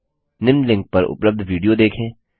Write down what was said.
निम्न लिंक पर उपलब्ध विडियो देखें